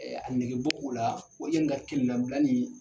a nɛgɛ ge bɔ u la o ye n ka kelen labila ni.